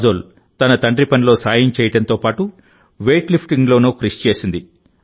కాజోల్ తన తండ్రి పనిలో సాయం చేయడంతో పాటు వెయిట్ లిఫ్టింగ్ లోనూ కృషి చేసింది